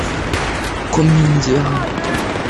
комедианты